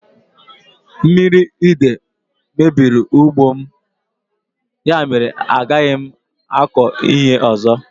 Mmiri idei mebiri ugbo m, ya mèrè a gaghị m akọ ihe ọzọ